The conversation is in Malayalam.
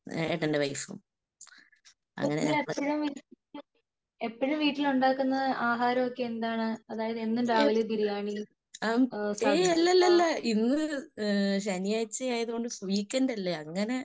ഏട്ടന്റെ വൈഫും. അങ്ങനെയാണ്. ഏഹ്.ആം. എയ് അല്ലല്ലല്ലല്ല ഇന്ന് ശനിയാഴ്ച ആയതോണ്ട് വീക്കെൻഡ് അല്ലേ. അങ്ങനെ